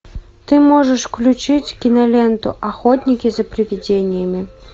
ты можешь включить киноленту охотники за привидениями